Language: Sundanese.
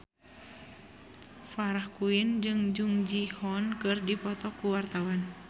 Farah Quinn jeung Jung Ji Hoon keur dipoto ku wartawan